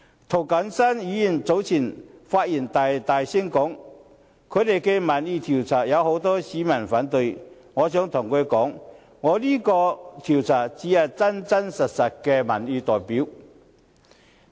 涂謹申議員早前發言時大聲表示，他們進行的民意調查顯示，有很多市民反對，我想告訴他，我這個調查才是有真實的民意代表性。